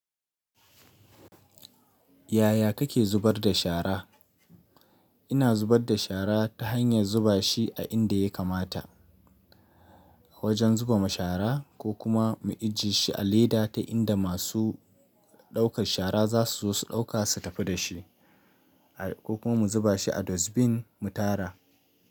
Yaya kake zubar da shara? Ina zubar da shara ta hanyar zuba shi a inda ya kamata. A wajen zuba ma shara ko kuma mu ije shi a leda ta inda masu ɗaukar shara za su zo su ɗauka su tafi da shi ko kuma mu zuba shi a dustbin mu tara.